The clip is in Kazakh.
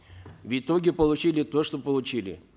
в итоге получили то что получили